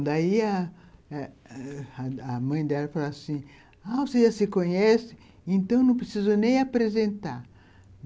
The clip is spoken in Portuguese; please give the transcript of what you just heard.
Daí a a mãe dela falou assim, ah você já se conhece, então não precisa nem apresentar.